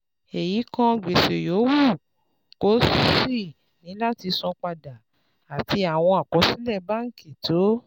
Èyí kan gbèsè yòówù kó o ṣì ní láti san padà àti àwọn àkọsílẹ̀ báńkì tó